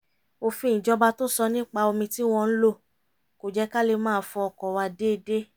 òfin ìjọba tó sọ nípa omi tí wọ́n ń lò kò jẹ́ ká lè máa fọ ọkọ̀ wa déédéé